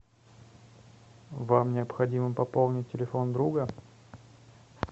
вам необходимо пополнить телефон друга